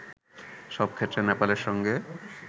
সব ক্ষেত্রে নেপালের সঙ্গে